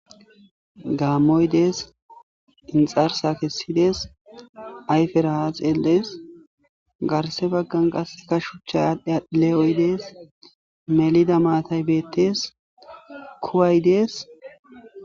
Gaamoy des, inxarsa kesides, ayfera ha xeeles, garsea bagan qase woga shuchay adhi adhi le'oy des, melida matay betes, kuway des